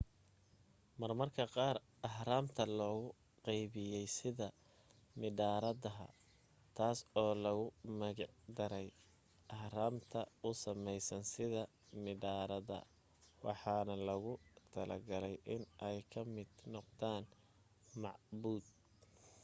marmarka qaar ahraamta loo qabeyey sida mindharadaha taas oo loogu magic daray arhamta u sameysan sida midhaarada waxaana loogu talagalay in ay ka mid noqdaan macbuud